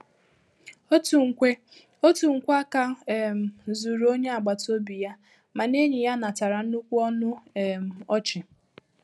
Otu nkwe Otu nkwe áká um zuru onye agbata obi ya, mana enyi ya natara nnukwu ọnụ um ọchị.